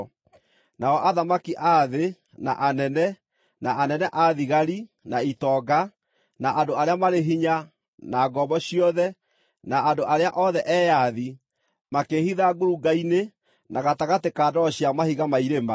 Nao athamaki a thĩ, na anene, na anene a thigari, na itonga, na andũ arĩa marĩ hinya, na ngombo ciothe, na andũ arĩa othe eyathi, makĩĩhitha ngurunga-inĩ, na gatagatĩ ka ndwaro cia mahiga ma irĩma.